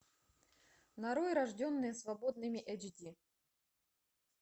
нарой рожденные свободными эйч ди